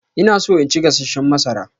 Ina so in ci gasasshen masara.